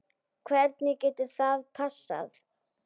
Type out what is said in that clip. Hvernig getur það passað?